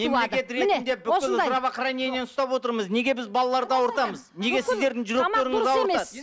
мемлекет ретінде бүкіл здравохранениені ұстап отырмыз неге біз балаларды ауыртамыз неге сідердің жүректеріңіз ауыртады